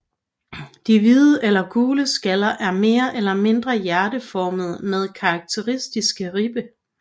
De hvide eller gule skaller er mere eller mindre hjerteformede med karakteristiske ribber